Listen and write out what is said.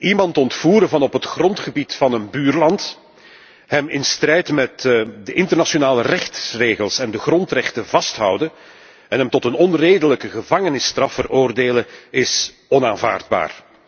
Iemand ontvoeren vanaf het grondgebied van het buurland, hem in strijd met de internationale rechtsregels en de grondrechten vasthouden en hem tot een onredelijke gevangenisstraf veroordelen, is onaanvaardbaar.